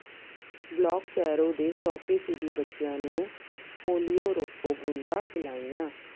block Kairon ਦੇ ਸੌ ਫ਼ੀਸਦੀ ਬੱਚਿਆਂ ਨੂੰ ਪੋਲੀਓ ਰੋਕੂ ਬੂੰਦਾਂ ਪਿਲਾਈਆਂ